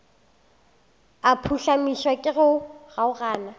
a phuhlamišwa ke go kgaogana